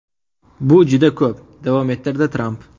Bu juda ko‘p”, davom ettirdi Tramp.